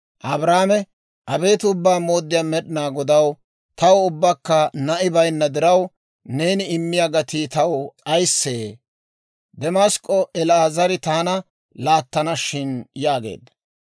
Abraame, «Abeet Ubbaa Mooddiyaa Med'inaa Godaw, taw ubbakka na'i baynna diraw, neeni immiyaa gatii taw ayissee? Demask'k'o El"eezeri taana laattana shin» yaageedda.